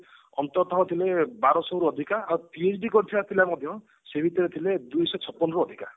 ଅନ୍ତତଃ ଥିଲେ ବାର ଶହରୁ ଅଧିକା ଆଉ କରିଥିବା ପିଲା ମଧ୍ୟ ସେ ଭିତରେ ଥିଲେ ଦୁଇଶହ ରୁ ଅଧିକା